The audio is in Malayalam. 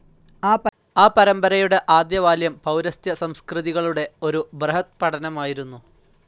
ആ പരമ്പരയുടെ ആദ്യവാല്യം പൗരസ്ത്യസംസ്കൃതികളുടെ ഒരു ബൃഹദ്പഠനമായിരുന്നു.